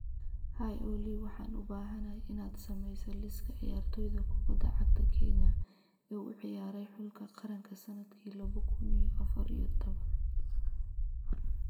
Hi Olly, waxaan u baahanahay inaad sameyso liiska ciyaartoyda kubbadda cagta Kenya ee u ciyaaray xulka qaranka sanadki laba kun iyo afar iyo toban.